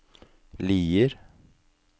Lier